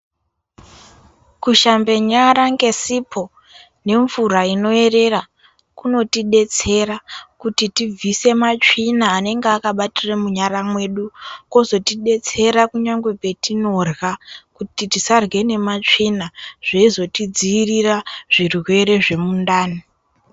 Kushambe nyara nesipo nemvura inoerera kunotidetsera kuti tibvise matsvina anenge akabatira munyara medu vozotidetsera kunyangwe patinorya kuti tisarya nematsvina zveizotidzivirira zvirwere zvemundani.